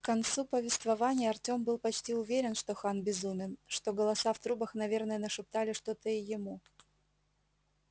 к концу повествования артем был почти уже уверен что хан безумен что голоса в трубах наверное нашептали что-то и ему